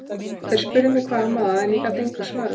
Þeir spurðu mig hvað amaði að en ég gat engu svarað.